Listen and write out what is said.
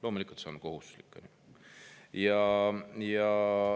Loomulikult on see kohustuslik.